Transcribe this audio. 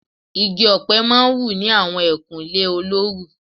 Igi ọ̀pẹ má ń wù ní àwọn ẹkùn ilẹ̀ olóoru